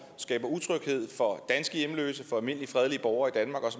skaber utryghed for danske hjemløse for almindelige fredelige borgere